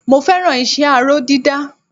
Mo fẹ́ràn iṣẹ́ aró dídá